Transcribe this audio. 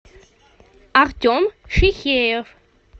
артем фихеев